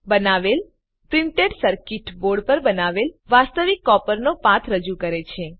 બનાવેલ લીલી track printed circuit board પર બનાવેલ વાસ્તવિક કોપરનો પાથ રજુ કરે છે